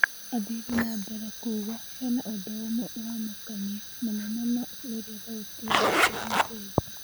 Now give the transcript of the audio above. Athire na mbere kuuga hena ũndũũmwe ũramakania, mũno mũno rĩrĩa thauti yake ĩracenjia.